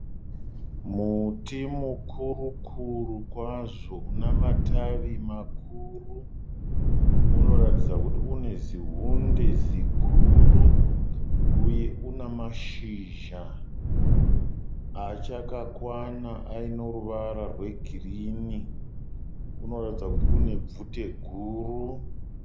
Muti mukuru kuru kwazvo una matavi makuru unoratidza kuti une zihunde ziguru uye una mashizha achakakwana aino ruvara rwegirini. Unoratidza kuti une bvute guru.